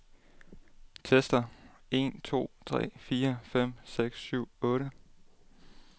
Tester en to tre fire fem seks syv otte.